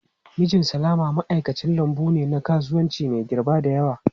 Mijin Salama ma'aikacin lambu ne na kasuwanci mai girba da yawa.